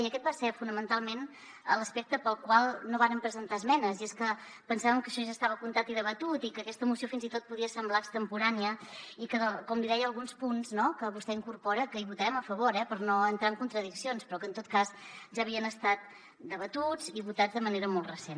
i aquest va ser fonamentalment l’aspecte pel qual no vàrem presentar esmenes i és que pensàvem que això ja estava comptat i debatut i que aquesta moció fins i tot podia semblar extemporània i que com li deia alguns punts que vostè hi incorpora que hi votarem a favor eh per no entrar en contradiccions però en tot cas ja havien estat debatuts i votats de manera molt recent